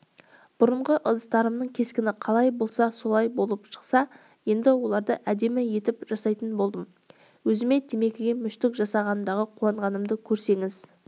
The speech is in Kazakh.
бұрынғы ыдыстарымның кескіні қалай болса солай болып шықса енді оларды әдемі етіп жасайтын болдым өзіме темекіге мүштік жасағанымдағы қуанғанымды көрсеңіз